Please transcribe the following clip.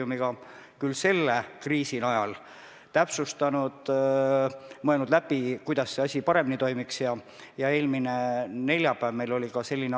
Väga paljud hooldekodud on juba tõkestanud külaskäigud ja ma arvan, et see on praegu päris mõistlik meede.